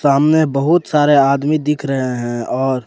सामने बहुत सारे आदमी दिख रहे हैं और--